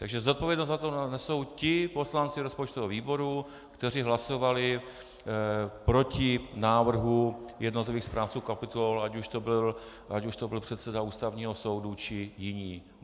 Takže zodpovědnost za to nesou ti poslanci rozpočtového výboru, kteří hlasovali proti návrhu jednotlivých správců kapitol, ať už to byl předseda Ústavního soudu, či jiní.